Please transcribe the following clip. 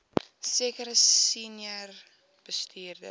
sekere senior bestuurders